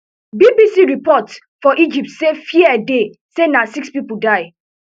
bbc reporters for egypt say fear dey say na six pipo die